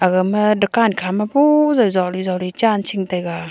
gama dakan khama boh jau zoli zoli chan ching taiga.